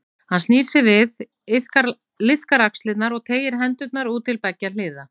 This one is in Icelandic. Hann snýr sér við, liðkar axlirnar og teygir hendurnar út til beggja hliða.